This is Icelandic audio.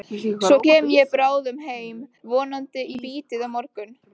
Svo kem ég bráðum heim, vonandi í bítið á morgun.